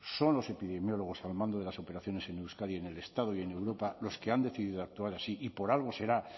son los epidemiólogos al mando de las operaciones en euskadi en el estado y en europa los que han decidido actuar así y por algo será